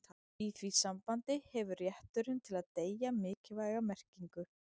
Í því sambandi hefur rétturinn til að deyja mikilvæga merkingu.